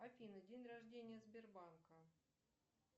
афина день рождения сбербанка